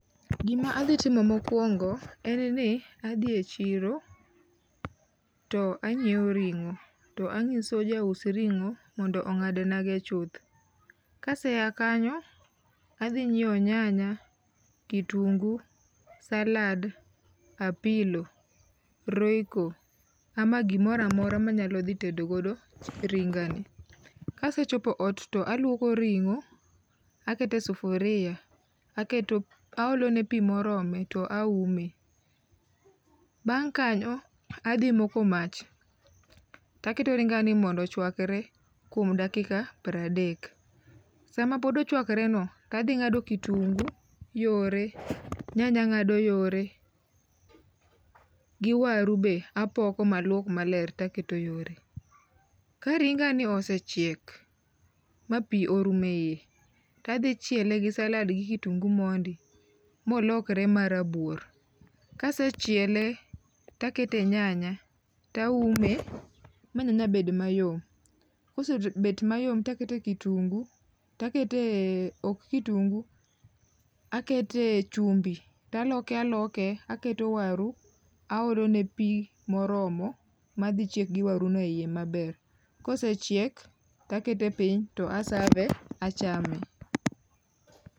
Gima adhi timo mokuongo en ni adhie e chiro to anyiew ringo to anyiso jaus ringo ni ongad na go chuth. Kaseya kanyo adhi nyiew nyanya, kitungu, salad, apilo, royco ama gimoro amora manyalo dhi ttedo godo tedo ringa ni. Kasechopo ot to aluoko ringo aketo e sufuria, aketo ne pii moromo to aume, bang kanyo adhi moko mach to aketo ringa ni mondo ochwakre kuom dakika prade. Sama pod ochwakre no tadhi ngado kitungu yore, nyanya angado yore gi waru be apoko maluok maler taketo yore. Ka ringa ni osechiek ma pii orumo eiye, tadhi chiele gi salad gi kitungu mondo molokre ma rabuor. kasechiele takete nyanya taume ma nyanya bed mayom, ka nyanya osebet mayom takete, kitungu[s],takete, ok kitungu, akete chumbi, taloke aloke, akete waru aolone pii moromo madhi chiek gi waru no iye yoo maber. Kosechiek takete piny to a ave, achame